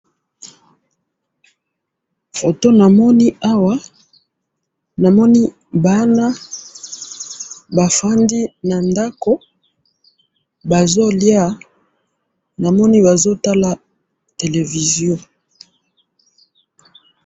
photo namoni awa na moni bana ba fandi na ndaku bazo lia bazo tala television